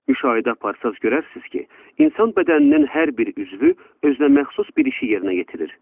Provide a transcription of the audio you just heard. Müşahidə aparsanız görərsiniz ki, insan bədəninin hər bir üzvü özünə məxsus bir işi yerinə yetirir.